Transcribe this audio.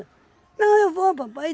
Não, eu vou, papai.